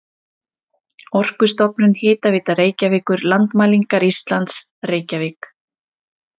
Orkustofnun, Hitaveita Reykjavíkur, Landmælingar Íslands, Reykjavík.